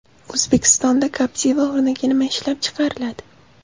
O‘zbekistonda Captiva o‘rniga nima ishlab chiqariladi?.